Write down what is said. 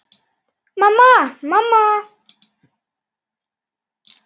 Mamma, mamma.